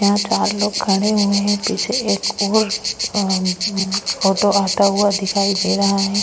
यहाँ चार लोग खड़े हुए है पीछे एक और अअ अम्म ऑटो आता हुआ दिखाई दे रहा है।